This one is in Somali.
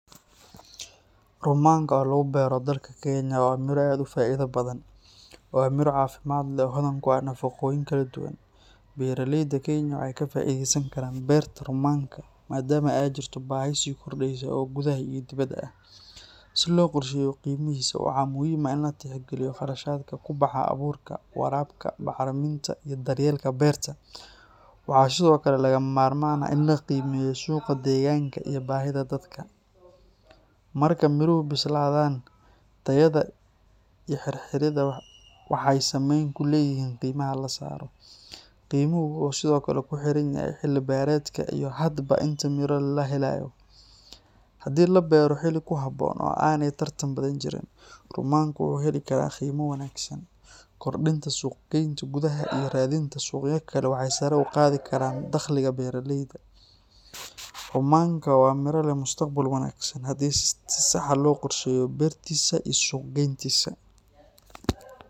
Rummanka oo lagu beero dalka Kenya waa miro aad u faa’iido badan. Waa miro caafimaad leh oo hodan ku ah nafaqooyin kala duwan. Beeraleyda Kenya waxay ka faa’iideysan karaan beerta rummanka maadaama ay jirto baahi sii kordheysa oo gudaha iyo dibadda ah. Si loo qorsheeyo qiimihiisa, waxaa muhiim ah in la tixgeliyo kharashaadka ku baxa abuurka, waraabka, bacriminta, iyo daryeelka beerta. Waxaa sidoo kale lagama maarmaan ah in la qiimeeyo suuqa deegaanka iyo baahida dadka. Marka miruhu bislaadaan, tayada iyo xirxirida waxay saameyn ku leeyihiin qiimaha la saaro. Qiimuhu wuxuu sidoo kale ku xiran yahay xilli-beereedka iyo hadba inta miro la helayo. Haddii la beero xilli ku habboon oo aanay tartan badani jirin, rummanku wuxuu heli karaa qiimo wanaagsan. Kordhinta suuq-geynta gudaha iyo raadinta suuqyo kale waxay sare u qaadi karaan dakhliga beeraleyda. Rummanka waa miro leh mustaqbal wanaagsan haddii si sax ah loo qorsheeyo beertiisa iyo suuq-geyntiisa.